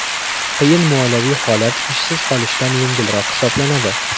Qiyin moliyaviy holat ishsiz qolishdan yengilroq hisoblanadi.